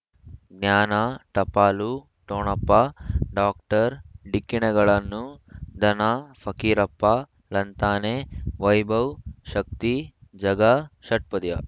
ಜ್ಞಾನ ಟಪಾಲು ಠೊಣಪ ಡಾಕ್ಟರ್ ಢಿಕ್ಕಿ ಣಗಳನು ಧನ ಫಕೀರಪ್ಪ ಳಂತಾನೆ ವೈಭವ್ ಶಕ್ತಿ ಝಗಾ ಷಟ್ಪದಿಯ